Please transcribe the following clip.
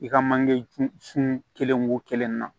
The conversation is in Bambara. I ka manje ju sun kelen wo kelen na